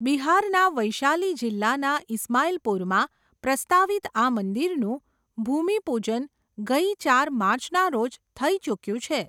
બિહારના વૈશાલી જિલ્લાના ઇસ્માઇલપુરમાં પ્રસ્તાવિત આ મંદિરનું, ભૂમિ પૂજન ગઈ ચાર માર્ચના રોજ થઈ ચુક્યું છે.